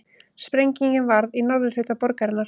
Sprengingin varð í norðurhluta borgarinnar